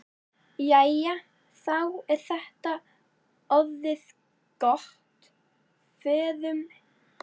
Jæja, þá er þetta orðið gott. Förum.